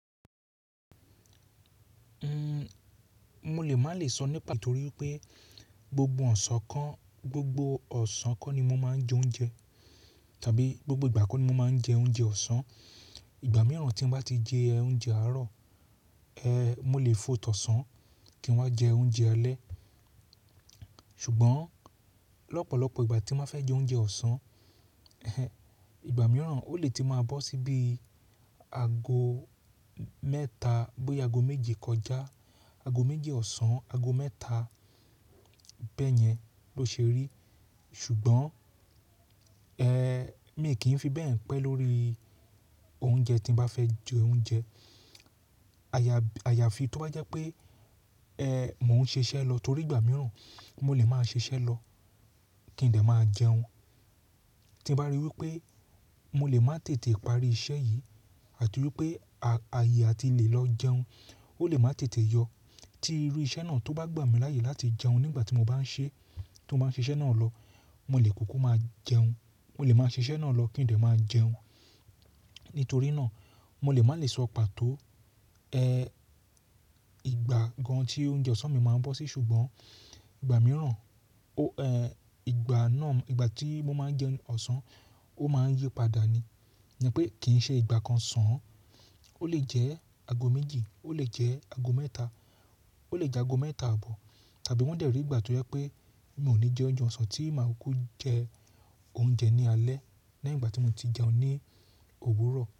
Mo lè má lè sọ ní pato wipé gbogbo ọ̀sán kan, gbogbo ọ̀sán kan ni mo máa ń jẹ oúnjẹ tàbí gbogbo ìgbà kan ni mo máa ń jẹ oúnjẹ ọ̀sán. Ìgbà mìíràn tí n bá ti jẹ oúnjẹ àárọ̀, mo lè fot'osán kí n wá jẹ oúnjẹ alẹ́. Ṣùgbọ́n lọ́pọ̀lọpọ̀ ìgbà tí n ba fẹ́ jẹ oúnjẹ ọ̀sán, ìgbà mìíràn ó lè ti máa bọ́ síi bí i aago mẹ́ta, bóyá aago méje kọjá, aago méji ọ̀sán, aago mẹ́ta bẹ́yẹn ló ṣe rí. Ṣùgbọ́n mii kì í fi bẹ́ẹ̀ pé lórí oúnjẹ tí mo bá fẹ́ jẹ oúnjẹ. Àyàfi tó bá jẹ́ pé mò ń ṣiṣẹ́ lọ torí ìgbà mìíràn mo lè máa ṣiṣẹ́ lọ kí n de máa jẹun. Tí mo bá ríi wí pé mo lè má tètè parí iṣẹ́ yìí àti wípé ààyè a ti lè lọ jẹun, ó lè má tètè yọ. Tí irú iṣẹ́ náà tó bá gbà mí láàyè láti jẹun nígbà tí mo bá ń ṣe, tó bá ń ṣe iṣẹ́ náà lọ, mo lè kúkú máa jẹun. Mo lè máa ṣe iṣẹ́ náà lọ kí n lè máa jẹun. Nítorí náà mo lè má lè sọ pàtó ìgbà gan tí oúnjẹ ọ̀sán mi máa ń bọ́ sí. Ṣùgbọ́n ìgbà mìíràn, ìgbà náà, ìgbà tí mo máa ń jẹ ọ̀sán ó máa ń yípadà ni. Ni pé kì í ṣe ìgbà kan sàn an. Ó lè jẹ́ aago méjì, ó lè jẹ́ aago mẹ́ta, ó lè jẹ́ aago mẹ́ta àbọ̀ tàbí wọ́n de rí ìgbà tó jẹ́ pé mi ò ní jẹ oúnjẹ ọ̀sán tí màá kú jẹ oúnjẹ ní alẹ́ leyin igbà tí mo ti jẹun ní òwúrọ̀